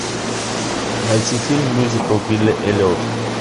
найти фильм мюзикл билли эллиот